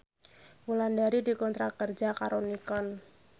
Wulandari dikontrak kerja karo Nikon